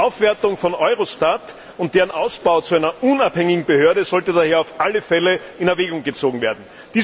Die Aufwertung von Eurostat und dessen Ausbau zu einer unabhängigen Behörde sollte daher auf alle Fälle in Erwägung gezogen werden.